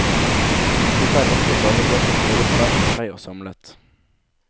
Dette er vakre gavebøker, både hver for seg og samlet.